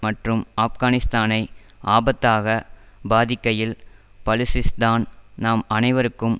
மற்றும் ஆப்கானிஸ்தானை ஆபத்தாகப் பாதிக்கையில் பலுசிஸ்தான் நம் அனைவருக்கும்